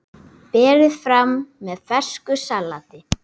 Berið fram með fersku salati.